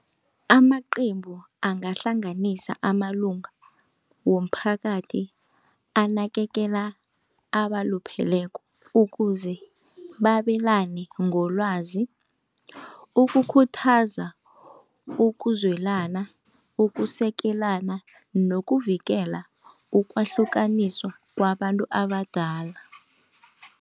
Amaqembu angahlanganisa amalunga womphakathi anakekela abalupheleko ukuze babelane ngolwazi, ukukhuthaza ukuzwelana, ukusekelana nokuvikela ukwahlukaniswa kwabantu abadala.